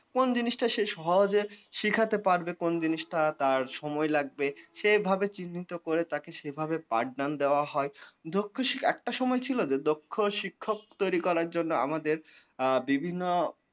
কোন জিনিসটা সে সহজে শিখাতে পারবে, কোন জিনিসটা তার সময় লাগবে সে ভাবে চিহ্নিত করে তাকে সেভাবে পাঠ দান দেওয়া হয় দক্ষ শিখ একটা সময় ছিল যে দক্ষ শিক্ষক তৈরি করার জন্যে আমাদের আ আমাদের বিভিন্ন